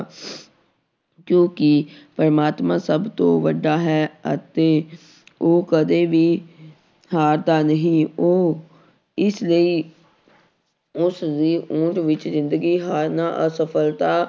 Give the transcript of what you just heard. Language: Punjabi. ਕਿਉਂਕਿ ਪ੍ਰਮਾਤਮਾ ਸਭ ਤੋਂ ਵੱਡਾ ਹੈ ਅਤੇ ਉਹ ਕਦੇ ਵੀ ਹਾਰਦਾ ਨਹੀਂ ਉਹ ਇਸ ਲਈ ਉਸਦੀ ਓਟ ਵਿੱਚ ਜ਼ਿੰਦਗੀ ਹਾਰਨਾ ਅਸਫ਼ਲਤਾ